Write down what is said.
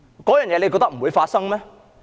大家覺得這不會發生嗎？